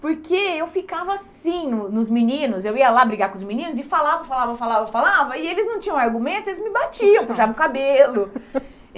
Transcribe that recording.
Porque eu ficava assim no nos meninos, eu ia lá brigar com os meninos e falava, falava, falava, falava, e eles não tinham argumento, eles me batiam, puxavam o cabelo.